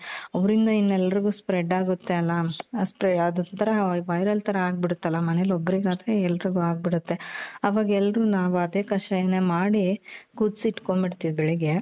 ಅವ್ರಿಂದ ಇನ್ನೆಲ್ರುಗು spread ಆಗುತ್ತೆ ಅಲ ಅಷ್ಟೇ ಅದೊಂತರ viral ತರ ಆಗ್ಬಿಡತ್ತಲ ಮನೆಲ್ ಒಬ್ರಿಗ್ ಆದ್ರೆ ಎಲ್ರಿಗು ಆಗ್ಬಿಡತ್ತೆ ಅವಾಗ್ ಎಲ್ರೂ ನಾವ್ ಅದೇ ಕಷಾಯನ ಮಾಡಿ ಕುದ್ಸಿಟ್ಕೋಂಡ್ ಬಿಡ್ತೀವಿ ಬೆಳ್ಗೆ .